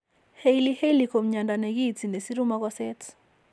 Hailey Hailey ko mnyando ne kiinti ne siru mokoseet.